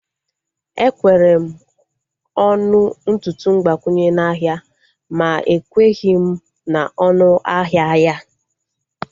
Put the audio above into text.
Ekwere m ọnụ ntutu mgbakwunye n'ahia ma ekweghị m na onu ahịa ya